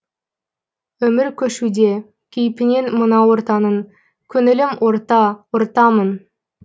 өмір көшуде кейпінен мына ортаның көңілім орта ортамын